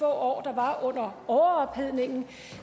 år der var under overophedningen